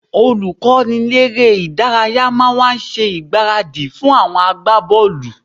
Olùkọ́niléré-ìdárayá máa wá ṣe ìgbáradì fún àwọn agbábọ́ọ̀lù